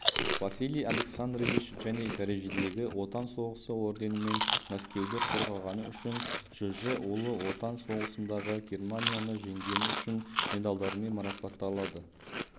василий александрович және дәрежедегі отан соғысы орденімен мәскеуді қорғағаны үшін жж ұлы отан соғысындағы германияны жеңген үшін медальдерімен марапатталды